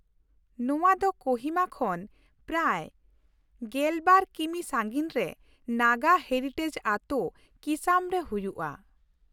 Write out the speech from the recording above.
ᱱᱚᱶᱟ ᱫᱚ ᱠᱳᱦᱤᱢᱟ ᱠᱷᱚᱱ ᱯᱨᱟᱭ ᱑᱒ ᱠᱤᱢᱤ ᱥᱟᱸᱜᱤᱧ ᱨᱮ ᱱᱟᱜᱟ ᱦᱮᱨᱤᱴᱮᱡ ᱟᱹᱛᱩ, ᱠᱤᱥᱟᱢ ᱨᱮ ᱦᱩᱭᱩᱜᱼᱟ ᱾